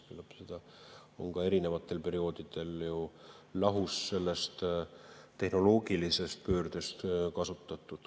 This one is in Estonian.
Küllap seda on kahetsusväärselt kasutatud ka erinevatel perioodidel sellest tehnoloogilisest pöördest lahus.